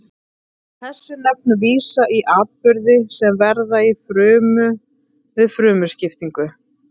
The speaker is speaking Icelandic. Þessi nöfn vísa í atburði sem verða í frumu við frumuskiptingu.